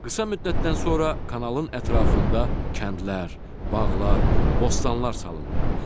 Qısa müddətdən sonra kanalın ətrafında kəndlər, bağlar, bostanlar salındı.